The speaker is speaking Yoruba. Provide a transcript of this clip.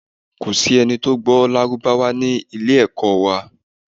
Ko si ẹni to gbo lárúbáwá ni ile-ẹko wa